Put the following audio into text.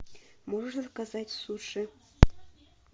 можешь заказать суши